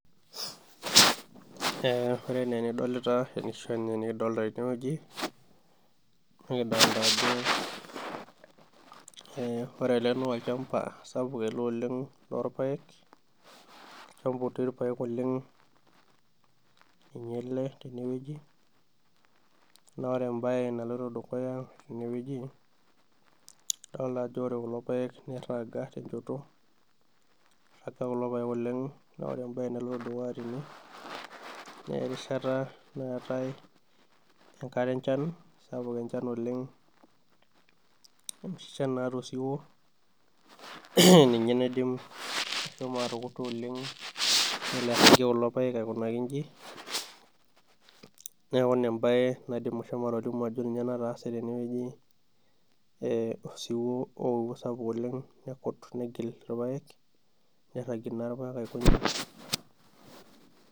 Ore ene enidolita arashu enikidolta tenewoji, nikidolta ake ore ele nolchamba sapuk ele oleng lorpaek, olchamba otii irpaek oleng ninye ele tenewueji, na ore ebae naloito dukuya tenewueji, adolta ajo ore kulo paek nirraga tenchoto, irraga kulo paek oleng na ore ebae naloito dukuya tene, nerishata naatae enkare enchan sapuk enchan oleng, enoshi shan naata osiwuo, ninye naidim ashomo atukuta oleng nelo airragie kulo paek aikunaki iji, neeku ina ebae naidim ashomo atolimu ajo ninye nataase tenewueji, osiwuo oewuo sapuk oleng nekut negil irpaek, nirragie naa irpaek aiko nejia.